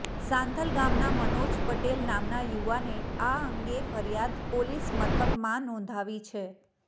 સાંથલ ગામના મનોજ પટેલ નામના યુવાને આ અંગે ફરિયાદ પોલીસ મથકમાં નોંધાવી છે